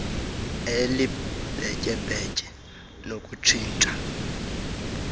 elibhetye bhetye nokutshintsha